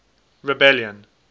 rebellion